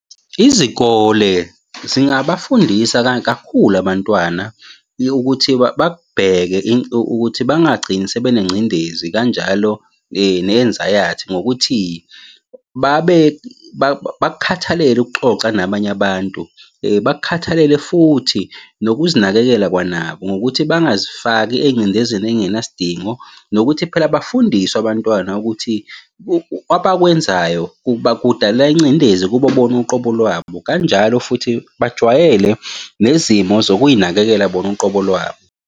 Izikole zingabafundisa kakhulu abantwana ukuthi bakubheke ukuthi bangagcini sebenengcindezi kanjalo ne-enzayathi, ngokuthi babe bakukhathalele ukuxoxa nabanye abantu. Bakukhathalele futhi nokuzinakekela kwanabo, ngokuthi bangazifaki engcindezini engenasidingo, nokuthi phela bafundiswe abantwana ukuthi abakwenzayo kudala ingcindezi kubo bona uqobo lwabo. Kanjalo futhi bajwayele nezimo zokuy'nakekela bona uqobo lwabo.